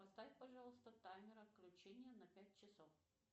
поставь пожалуйста таймер отключения на пять часов